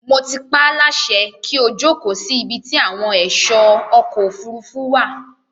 Mo ti paáláṣẹ kí ó jókòó sí ibi ti àwọn ẹ̀ṣọ́ ọkọ̀ òfurufú wà.